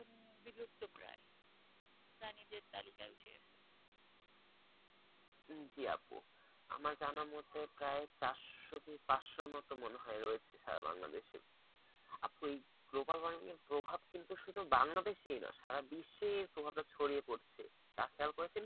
জি আপ্পু আমার জানামতে প্রায় চারশো থেকে পাঁচশো মতো মনে হয় রয়েছে সারা বাংলাদেশে এ আপ্পু এই global warming এর প্রভাব কিন্তু শুধু বাংলাদেশেইস না সারা বিশ্বে এই প্রভাবটা ছড়িয়ে পড়ছে। তা খেয়াল করেছেন কি?